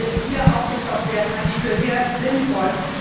Dass die Mittel hier aufgestockt werden, halte ich für sehr sinnvoll.